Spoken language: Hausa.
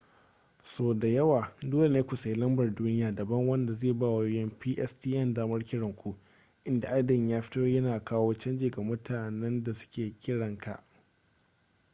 sau da yawa dole ne ku sayi lambar duniya daban wanda zai ba wayoyin pstn damar kiran ku inda adadin ya fito yana kawo canji ga mutanen da suke kiranka